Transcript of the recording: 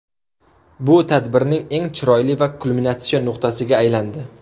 Bu tadbirning eng chiroyli va kulminatsion nuqtasiga aylandi.